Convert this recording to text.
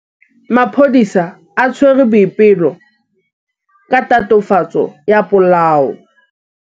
Maphodisa a tshwere Boipelo ka tatofatsô ya polaô.